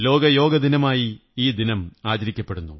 ലോക യോഗ ദിനമായി ഈ ദിനം ആചരിക്കപ്പെടുന്നു